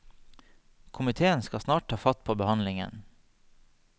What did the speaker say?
Komitéen skal snart ta fatt på behandlingen.